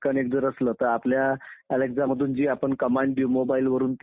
हां आणि तीच लोकशाही आज पण आहे आपल्या देशामध्ये